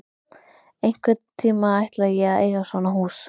Einhvern tíma ætla ég að eiga svona hús.